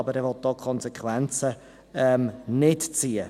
Aber er will hier die Konsequenzen nicht ziehen.